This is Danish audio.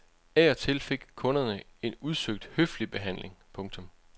Af og til fik kunderne en udsøgt høflig behandling. punktum